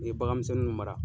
I ye bagan misɛnninw mara.